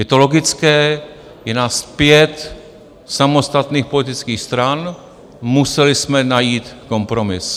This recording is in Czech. Je to logické, je nás pět samostatných politických stran, museli jsme najít kompromis.